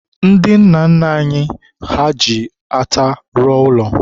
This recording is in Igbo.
ndị nna nna anyị ha ji ata rụọ ụlọ.